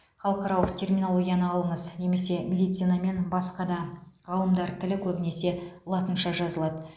халықаралық терминологияны алыңыз немесе медицина мен басқа ғалымдар тілі көбінесе латынша жазылады